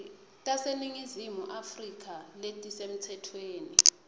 taseningizimu afrika letisemtsetfweni